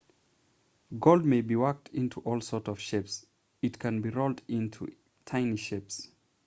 gold may be worked into all sorts of shapes it can be rolled into tiny shapes